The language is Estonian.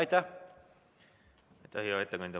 Aitäh, hea ettekandja!